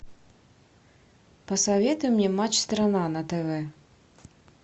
посоветуй мне матч страна на тв